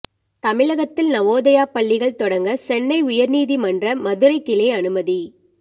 தமிழகத்தில் நவோதயா பள்ளிகள் தொடங்க சென்னை உயர் நீதிமன்ற மதுரை கிளை அனுமதி